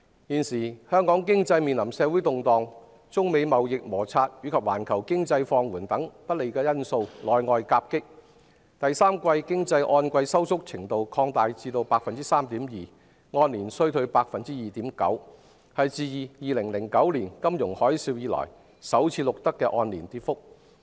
現時，香港經濟面臨社會動盪，中美貿易摩擦及環球經濟放緩等不利因素內外夾擊，第三季經濟按季收縮程度擴大至 3.2%， 按年衰退 2.9%， 是自2009年金融海嘯後首次錄得的按年跌幅。